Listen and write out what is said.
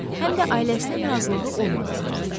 Həm də ailəsinin razılığı olmadığı halda.